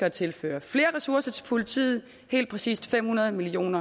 at tilføre flere ressourcer til politiet helt præcis fem hundrede million